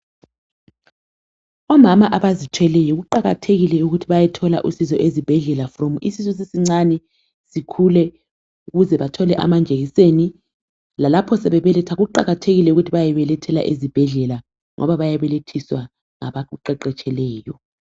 Omama abazithweleyo kuqakathekile ukuthi bayethola usizo ezibhedlela kusukela isisu sisincane, sikhule, ukuze bayethole amajekiseni, lalapho sebebeletha kuqakathekile ukuba bayebelethela ezibhedlela ngoba bayabelethiswa ngabaqeqetshileyo.